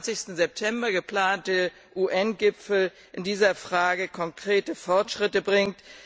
23. September geplante UN Gipfel in dieser Frage konkrete Fortschritte bringt.